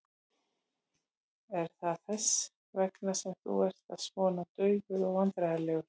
Er það þess vegna sem þú ert svona daufur og vandræðalegur?